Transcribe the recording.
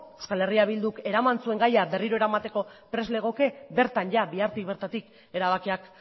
eh bilduk eraman zuen gaia berriro eramateko prest legoke bertan bihartik bertatik erabakiak